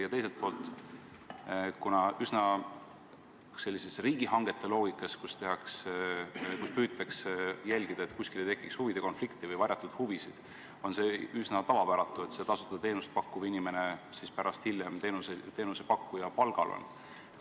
Ja teiselt poolt, riigihangete loogikas püütakse jälgida, et kuskil ei tekiks huvide konflikti ega esineks varjatud huvisid, ja on üsna tavapäratu, et tasuta teenust pakkuv inimene on hiljem teenusepakkuja palgal.